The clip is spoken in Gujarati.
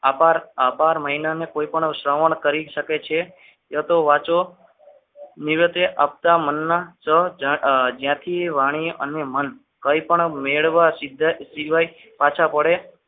આભાર આભાર મહિલાને કોઈપણ શ્રવણ કરી શકે છે યા તો વાંચો નિરતે હપ્તા મગના સ્વ જ્યાંથી એ વાણીએ મન કાંઈ પણ મેળવાશે સિવાય પાછા પડે.